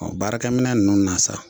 baarakɛminɛ nunnu na sa